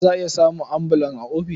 Za a iya samun ambulan a ofis.